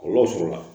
Kɔlɔlɔ sɔrɔla